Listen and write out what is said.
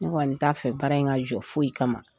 Ne kɔni t'a fɛ baara in ka jɔ foyi kama .